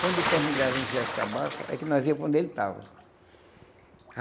Quando ele terminava de encher as cabaças, é que nós ía para onde ele estava.